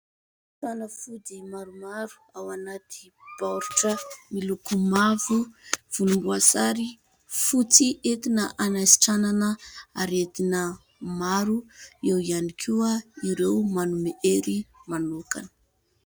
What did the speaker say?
Fanafody maromaro ao anaty baoritra miloko mavo, volom-boasary, fotsy ; entina anasitranana aretina maro. Eo ihany koa ireo manome ery manokana.